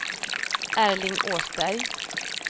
Erling Åsberg